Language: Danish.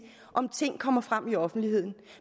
om ting kommer frem i offentligheden